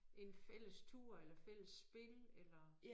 En fælles tur eller fælles spil eller